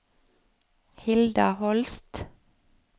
Hilda Holst